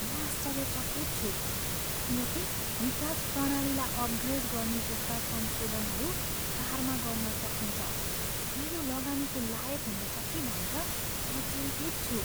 म आश्चर्यचकित छु किन कि निकास प्रणालीलाई अपग्रेड गर्ने जस्ता संशोधनहरू कारमा गर्न सकिन्छ र यो लगानीको लायक हुनेछ कि भनेर म चिन्तित छु।